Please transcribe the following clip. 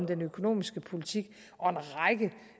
den økonomiske politik og